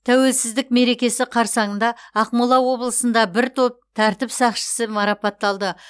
тәуелсіздік мерекесі қарсаңында ақмола облысында бір топ тәртіп сақшысы марапатталды